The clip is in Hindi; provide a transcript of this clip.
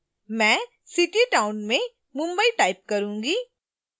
मैं city/town में mumbai type करूंगी